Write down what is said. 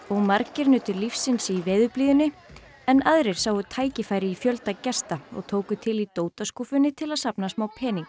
margir nutu lífsins í veðurblíðunni en aðrir sáu tækifæri í fjölda gesta og tóku til í til að safna smá peningi